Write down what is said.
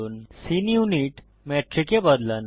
scene unit metric এ বদলান